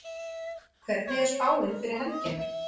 hvernig er spáin fyrir helgina